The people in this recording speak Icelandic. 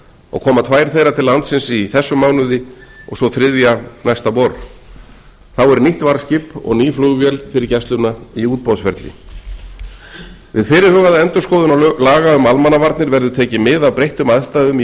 og koma tvær þeirra til landsins í þessum mánuði og sú þriðja næsta vor þá er nýtt varðskip og ný flugvél fyrir gæsluna í útboðsferli við fyrirhugaða endurskoðun laga um almannavarnir verður tekið mið af breyttum aðstæðum í